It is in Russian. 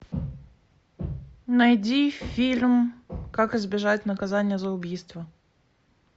найди фильм как избежать наказание за убийство